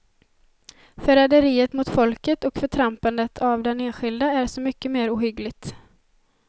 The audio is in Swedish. Förräderiet mot folket och förtrampandet av den enskilde är så mycket mer ohyggligt.